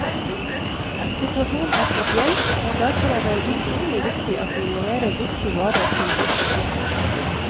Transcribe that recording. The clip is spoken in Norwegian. Situasjonen er spesiell, og derfor er det utrolig viktig at vi leverer riktig vare til riktig tidspunkt.